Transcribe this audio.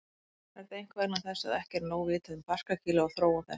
Er það einkum vegna þess að ekki er nóg vitað um barkakýlið og þróun þess.